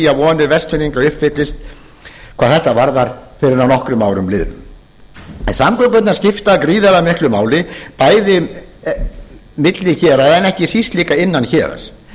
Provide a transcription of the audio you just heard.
að vonir vestfirðinga uppfyllist hvað þetta varðar fyrr en að nokkrum árum liðnum en samgöngurnar skipta gríðarlega miklu máli bæði milli héraða en ekki síst líka innan héraðs